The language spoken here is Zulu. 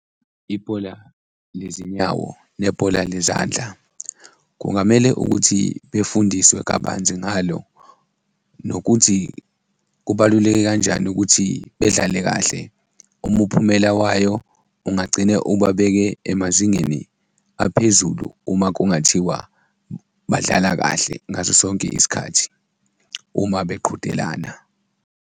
Ibhola lezinyawo nebhola lezandla kungamele ukuthi befundiswe kabanzi ngalo nokuthi kubaluleke kanjani ukuthi bedlale kahle. Umphumela wayo ungagcine ubabeke emazingeni aphezulu uma kungathiwa badlala kahle ngaso sonke isikhathi uma beqhudelana.